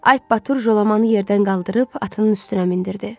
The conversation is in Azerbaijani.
Alp Batır Jolamanı yerdən qaldırıb atının üstünə mindirdi.